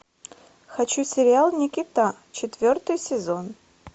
хочу сериал никита четвертый сезон